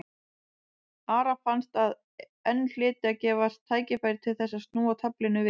Ara fannst að enn hlyti að gefast tækifæri til þess að snúa taflinu við.